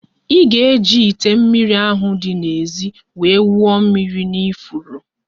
Ị ga-eji ite mmiri ahụ di n'ézì wee wụọ mmiri n'ifuru